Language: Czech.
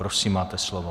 Prosím, máte slovo.